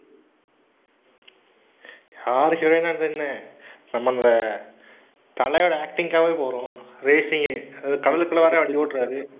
யாருக்கு வேணா இதுன்னு. நம்ம இந்த தலையோட acting க்காகவே போறோம். racing அதுவும் கடலுக்குள்ள வேற வண்டியோட்டறாரு.